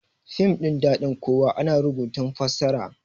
fim ɗin dadin kowa ana rubutun fassara